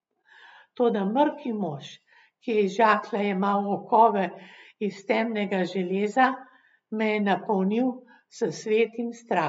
Toda mrki mož, ki je iz žaklja jemal okove iz temnega železa, me je napolnil s svetim strahom.